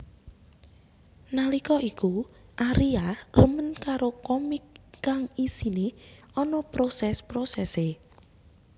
Nallika iku Aria remen karo komik kang isiné ana proses prosesé